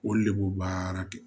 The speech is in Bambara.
Olu le b'o baara kɛ